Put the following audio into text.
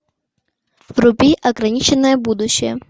вруби ограниченное будущее